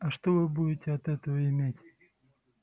а что вы будете от этого иметь